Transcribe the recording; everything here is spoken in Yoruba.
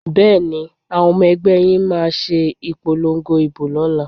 Bẹ́ẹ̀ni, àwọn ọmọ ẹgbẹ́ yín máa ṣe ìpolongo ìbò lọ́la?